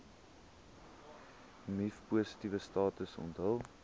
mivpositiewe status onthul